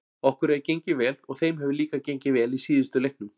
Okkur hefur gengið vel og þeim hefur líka gengið vel í síðustu leiknum.